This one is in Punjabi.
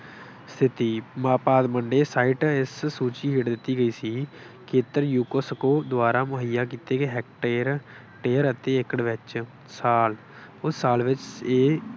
ਸਥਿਤੀ- ਇਸ ਸੂਚੀ ਹੇਠ ਦਿੱਤੀ ਗਈ ਸੀ। ਖੇਤਰ UNESCO ਦੁਆਰਾ ਮੁਹੱਇਆ ਕੀਤੀ ਗਏ ਹੈਕਟੇਅਰ, ਟੇਅਰ ਅਤੇ ਏਕੜ ਵਿੱਚ ਸਾਲ ਉਸ ਸਾਲ ਵਿੱਚ ਇਹ